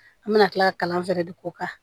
An bɛna tila kalan fɛnɛ de k'o kan